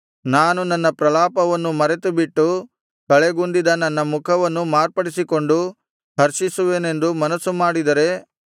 ನಾನು ನನ್ನ ಪ್ರಲಾಪವನ್ನು ಮರೆತುಬಿಟ್ಟು ಕಳೆಗುಂದಿದ ನನ್ನ ಮುಖವನ್ನು ಮಾರ್ಪಡಿಸಿಕೊಂಡು ಹರ್ಷಿಸುವೆನೆಂದು ಮನಸ್ಸು ಮಾಡಿದರೆ